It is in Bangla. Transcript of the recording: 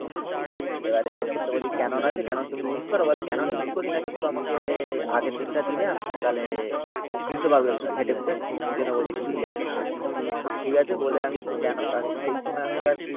এবারে তোর তো বলি ক্যানন আছে ক্যানন তুমি ইউজ করো? বলে ক্যানন ইউজ করি না কিন্তু আমাকে আগের দিনটা দিলে আমি তাহলে বুঝতে পারব একটু। খেটেখুটে খুঁজে নেব যে কি কি আছে না আছে। ঠিক আছে বলে আমি। সেই সময় আমি আবার।